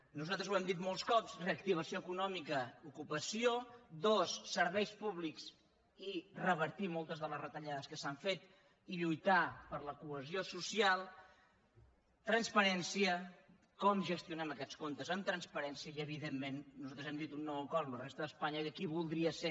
nosaltres ho hem dit molts cops reactivació econòmica ocupació dos serveis públics i revertir moltes de les retallades que s’han fet i lluitar per la cohesió social transparència com gestionem aquests comptes amb transparència i evidentment nosaltres hem dit un nou acord amb la resta d’espanya i aquí voldria ser